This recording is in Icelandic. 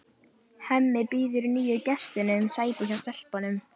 Hemmi býður nýju gestunum sæti hjá stelpunum.